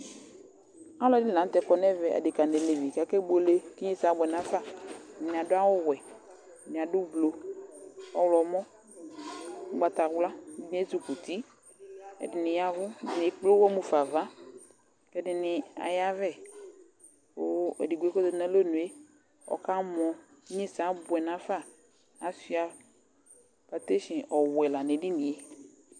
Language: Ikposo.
Alʋɛdɩnɩ la nʋ tɛ kɔ nʋ ɛvɛ, adekǝ nʋ alevi kʋ akebuele kʋ inyesɛ abʋɛ nafa Ɛdɩnɩ adʋ awʋwɛ, ɛdɩnɩ adʋ ublu, ɔɣlɔmɔ, ʋgbatawla, ɛdɩnɩ ezikuti, ɛdɩnɩ ya ɛvʋ, ɛdɩnɩ ekple ʋɣɔ ɣa fa ava kʋ ɛdɩnɩ ayavɛ kʋ edigbo yɛ kʋ ɔzati nʋ alɔnu yɛ, ɔkamɔ Inyesɛ abʋɛ nafa Asʋɩa patesin ɔwɛ la nʋ edini yɛ